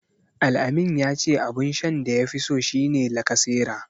Al-amin ya ce abun shan da yafi so shi ne lacasera.